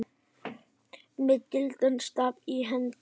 með gildan staf í hendi